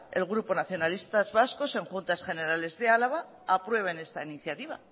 el grupo nacionalista vasco en juntas generales de álava apruebe esta iniciativa